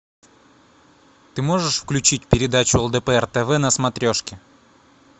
ты можешь включить передачу лдпр тв на смотрешке